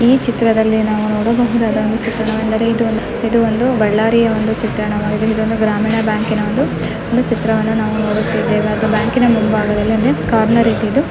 ಈ ಚಿತ್ರದಲ್ಲಿ ನಾವು ನೋಡಬಹುದಾದ ಒಂದು ಚಿತ್ರ ವೆಂದರೆ ಇದು ಒಂದು ಇದು ಒಂದು ಬಳ್ಳಾರಿಯ ಒಂದು ಚಿತ್ರಣವಾಗಿದೆ ಇದು ಒಂದು ಗ್ರಾಮೀಣ ಬ್ಯಾಂಕಿನ ಒಂದು ಚಿತ್ರವನ್ನು ನಾವು ನೋಡುತ್ತಿದ್ದೇವೆ.